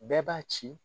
Bɛɛ b'a ci